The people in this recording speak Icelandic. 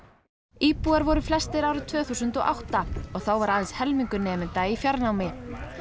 íbúar voru flestir árið tvö þúsund og átta og þá var aðeins helmingur nemenda í fjarnámi